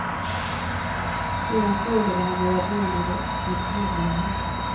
Sedan frågade han vad jag menade med hederligt.